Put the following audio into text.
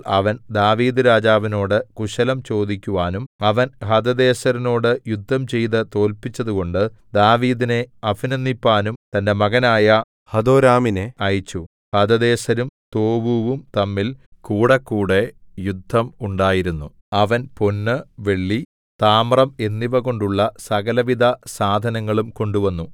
അവൻ ദാവീദ്‌ രാജാവിനോടു കുശലം ചോദിക്കുവാനും അവൻ ഹദദേസെരിനോടു യുദ്ധംചെയ്തു തോല്പിച്ചതുകൊണ്ടു ദാവീദിനെ അഭിനന്ദിപ്പാനും തന്റെ മകനായ ഹദോരാമിനെ അയച്ചു ഹദദേസരും തോവൂവും തമ്മിൽ കൂടക്കൂടെ യുദ്ധം ഉണ്ടായിരുന്നു അവൻ പൊന്നു വെള്ളി താമ്രം എന്നിവകൊണ്ടുള്ള സകലവിധ സാധനങ്ങളും കൊണ്ടുവന്നു